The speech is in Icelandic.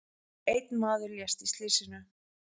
Einn maður lést í slysinu.